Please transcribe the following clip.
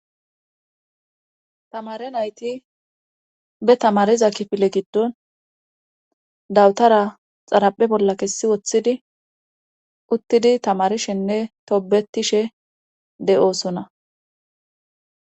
Tamare nayti be tamariza kifile giddon dawutara xaraphe bolla kessi woththidi uttidi tamarishenne toobetishe de7oosona